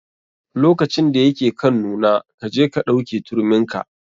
Lokacin da ya ke kan nuna, kaje ka ɗauke turmin ka.